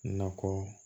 Nakɔ